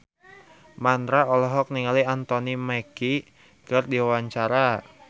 Mandra olohok ningali Anthony Mackie keur diwawancara